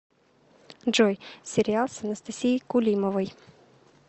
джой сериал с анастасией кулимовой